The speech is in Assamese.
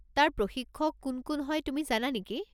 তাৰ প্ৰশিক্ষক কোন কোন হয় তুমি জানা নেকি?